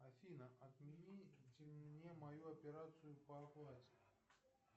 афина отмените мне мою операцию по оплате